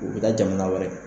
Ee e be taa jamana wɛrɛ kan